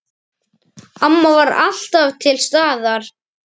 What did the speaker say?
Amma var alltaf til staðar.